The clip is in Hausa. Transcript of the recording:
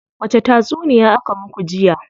Wace tatsuniya aka muku jiya?